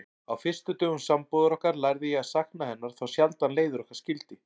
Á fyrstu dögum sambúðar okkar lærði ég að sakna hennar þá sjaldan leiðir okkar skildi.